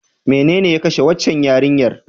Menene ya kashe waccan yarinyar?